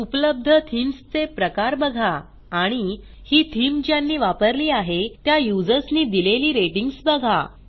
उपलब्ध थीम्स चे प्रकार बघा आणि ही थीम ज्यांनी वापरली आहे त्या युजर्सनी दिलेली रेटिंग्ज बघा